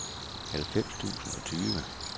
halvfems tusind og tyve